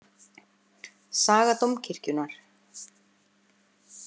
Saga Dómkirkjunnar.